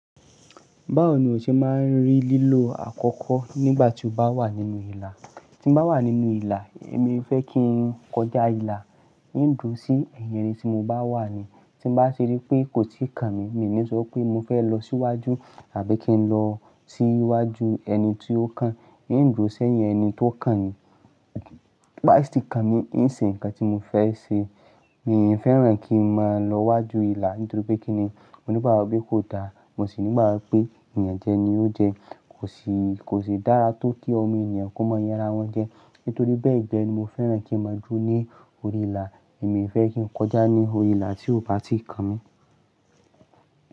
Báwo ni o ṣe máa rí lílo àkọ́kọ́ nígbà tí o bá wà nínú ìlà? Tí n bá wà nínú ìlà, èmi fẹ́ kí n kọjá ìlà, n dúró sí ẹ̀yìn ẹni tí mo bá wà ní. Tí mo bá ti rí pé kò tí ì kan mi, mi ò ní sọ pé mo fẹ́ lọ síwájú tàbí kí n lọ sí iwájú ẹni tí ó kàn. N dúró sí ẹ̀yìn ẹni tí ó kàn ni. Pá sì ni kan ni, n ṣe ǹkan tí mo fẹ́ ṣe. Mi ò fẹ́ràn kí n máa lọ wájú ìlà nítorí pé kí ni? Mo ní ìgbagbọ pé kò dáa. Mo sì ní ìgbagbọ pé ìyànjẹ ni ó jẹ. Kò si, kò si dára tó kí ọmọ ènìyàn kó mọ yan ra wọn jẹ. Nítorí bẹ́ẹ̀ gẹ́ ni mo fẹ́ràn kí n máa dúró ní orí ìlà. Èmi o fẹ́ kí n kọjá ní orí ìlà tí ó bá ti kan mi.